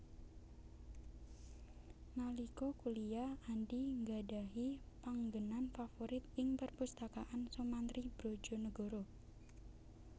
Nalika kuliyah Andy nggadhahi panggènan favorit ing perpustakaan Soemantri Brodjonegoro